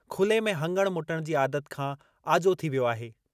खुले में हंगणु मुटणु जी आदत खां आजो थी वियो आहे।